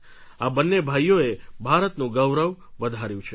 આ બંને ભાઈઓએ ભારતનું ગૌરવ વધાર્યું છે